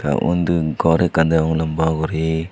undi gor ekkan deong lamba guri.